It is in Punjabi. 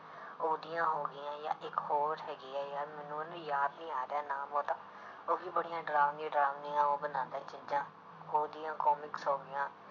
ਉਹਦੀਆਂ ਹੋ ਗਈਆਂ ਜਾਂ ਇੱਕ ਹੋਰ ਹੈਗੀ ਹੈ ਯਾਰ ਮੈਨੂੰ ਯਾਦ ਨੀ ਆ ਰਿਹਾ ਨਾਮ ਉਹਦਾ, ਉਹ ਵੀ ਬੜੀਆਂ ਡਰਾਵਨੀ ਡਰਾਵਨੀਆਂ ਉਹ ਬਣਾਉਂਦਾ ਹੈ ਚੀਜ਼ਾਂ ਉਹਦੀਆਂ ਕੋਮਿਕਸ ਹੋ ਗਈਆਂ,